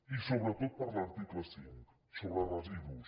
i sobretot per l’article cinc sobre residus